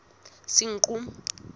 senqu